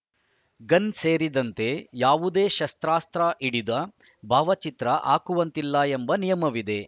gun ಸೇರಿದಂತೆ ಯಾವುದೇ ಶಸ್ತ್ರಾಸ್ತ್ರ ಹಿಡಿದ ಭಾವಚಿತ್ರ ಹಾಕುವಂತಿಲ್ಲ ಎಂಬ ನಿಯಮವಿದೆ